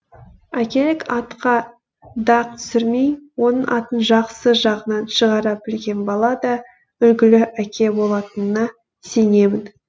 әкелік атқа дақ түсірмей оның атын жақсы жағынан шығара білген бала да үлгілі әке болатынына сенемін